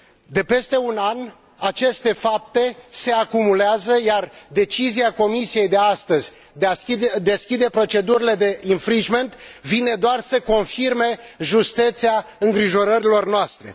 De peste un an, aceste fapte se acumulează, iar decizia Comisiei de astăzi, de a deschide procedurile de vine doar să confirme justețea îngrijorărilor noastre.